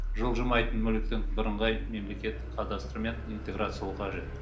жылжымайтын мүліктің бірыңғай мемлекеттік кадастрымен интеграциялау қажет